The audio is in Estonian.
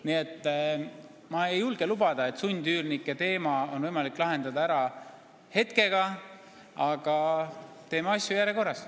Nii et ma ei julge lubada, et sundüürnike teema on võimalik lahendada ära hetkega, aga teeme asju järjekorras.